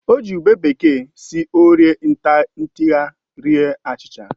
O ji ube bekee si orie ntigha rie achịcha